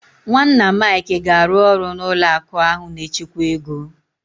Nwanna Mike ga-arụ ọrụ n'ụlọ akụ ahụ na-echekwa ego.